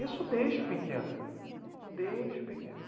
Isso desde pequeno, desde pequeno.